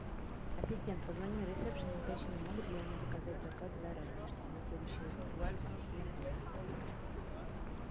ассистент позвони на ресепшн и уточни могут ли они заказать заказ заранее чтобы на следующее утро мне принесли в номер завтрак